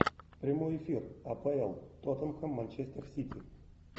прямой эфир апл тоттенхэм манчестер сити